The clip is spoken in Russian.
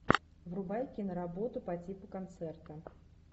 врубай киноработу по типу концерта